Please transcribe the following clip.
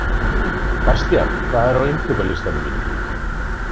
Bastían, hvað er á innkaupalistanum mínum?